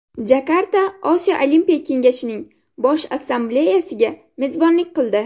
Jakarta Osiyo olimpiya kengashining Bosh Assambleyasiga mezbonlik qildi .